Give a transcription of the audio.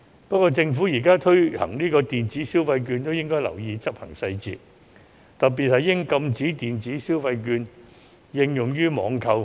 不過，政府現在推行電子消費券亦應留意執行細節，特別應禁止電子消費券應用於網購。